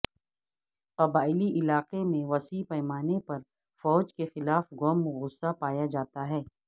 قبائلی علاقے میں وسیع پیمانے پر فوج کے خلاف غم و غصہ پایا جاتا ہے